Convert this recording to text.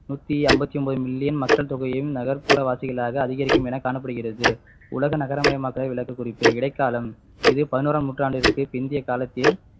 நூத்தி ஐம்பத்து ஒன்பது million மக்கள் தொகையையும் நகர்ப்புற வாசிகளாக அதிகரிக்கும் என காணப்படுகிறது உலக நகரமயமாக்களை விளக்ககூடிய இடைக்காலம் இது பதினோராம் நூற்றாண்டுக்கு பிந்தைய காலத்தில்